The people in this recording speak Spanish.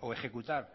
o ejecutar